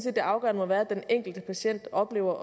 at det afgørende må være at den enkelte patient oplever